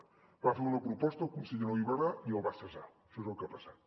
parlo d’una proposta que al conseller no li va agradar i el va cessar això és el que ha passat